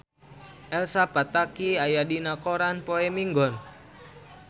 Elsa Pataky aya dina koran poe Minggon